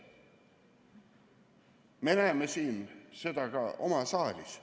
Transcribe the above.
Me näeme seda ka siin saalis.